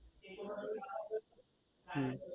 હમ